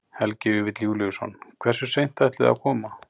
Helgi Vífill Júlíusson: Hversu seint ætlið þið að koma?